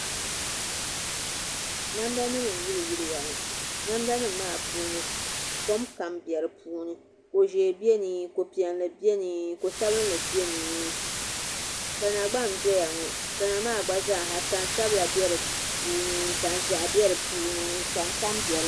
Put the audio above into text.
Namda nim n yili yiliya ŋɔ namda nim maa puuni kom kam bɛ di puuni ko ʒiɛ biɛni ko piɛlli biɛni ko sabinli biɛni ni tana gba n doya ŋɔ tana maa gba zaaha tani sabila bɛ di puuni tani ʒiɛhi bɛ di puuni tani tani bɛ di